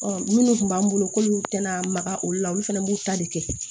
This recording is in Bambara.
minnu tun b'an bolo k'olu tɛna maga olu la olu fɛnɛ b'u ta de kɛ